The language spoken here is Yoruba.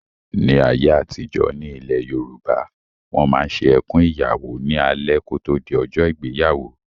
Ní ayé àtijọ́, ní ilẹ̀ Yorùbá, Wọ́n máa ń ṣe "Ẹkùn Ìyàwó" ní alẹ́ kò tó di ọjọ́ ìgbéyàwó